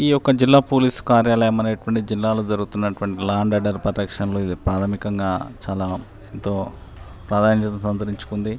ఈ యొక్క జిల్లా పోలీస్ కార్యాలయం అనేటువంటిది జిల్లా లో జరుగుతున్నటువంటి లా అండ్ ఆర్డర్ పరిరక్షణ లో ఇది ప్రాధమికంగా చాలా ఎంతో ప్రాధాన్యతను సంతరించుకుంది.